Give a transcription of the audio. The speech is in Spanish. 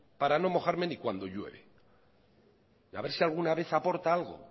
para no mojarme ni cuando llueve a ver si alguna vez aporta algo